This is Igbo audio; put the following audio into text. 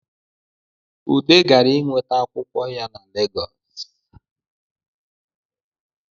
Ude gara inweta akwụkwọ ya Legosi